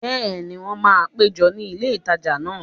Bẹ́ẹ̀ni, wọ́n máa péjọ ní ilé ìtajà náà